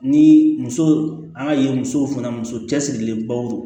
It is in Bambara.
Ni muso an ka ye musow fana muso cɛsirilenbaw